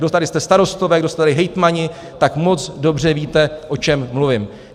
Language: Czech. Kdo tady jste starostové, kdo jste tady hejtmani, tak moc dobře víte, o čem mluvím.